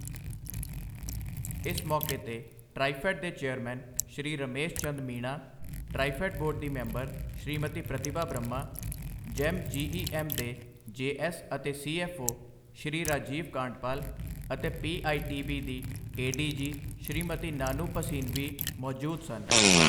ਇਸ ਮੌਕੇ ਤੇ ਟ੍ਰਾਈਫੈੱਡ ਦੇ ਚੇਅਰਮੈਨ ਸ਼੍ਰੀ ਰਮੇਸ਼ ਚੰਦ ਮੀਣਾ, ਟ੍ਰਾਈਫੈੱਡ ਬੋਰਡ ਦੀ ਮੈਂਬਰ ਸ਼੍ਰੀਮਤੀ ਪ੍ਰਤਿਭਾ ਬ੍ਰਹਮਾ, ਜੈੱਮ ਜੀਈਐੱਮ ਦੇ ਜੇਐੱਸ ਅਤੇ ਸੀਐੱਫਓ ਸ਼੍ਰੀ ਰਾਜੀਵ ਕਾਂਡਪਾਲ ਅਤੇ ਪੀਆਈਬੀ ਦੀ ਏਡੀਜੀ ਸ਼੍ਰੀਮਤੀ ਨਾਨੂ ਭਸੀਨ ਵੀ ਮੌਜੂਦ ਸਨ।